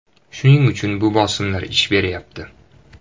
Shuning uchun bu bosimlar ish beryapti.